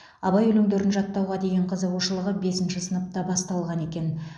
абай өлеңдерін жаттауға деген қызығушылығы бесінші сыныпта басталған екен